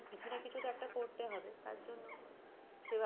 কিছু না কিছু তো একটা করতে হবে তার জন্য সে ভাবছে